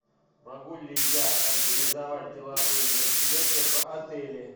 могу ли я организовать деловые мероприятия в отеле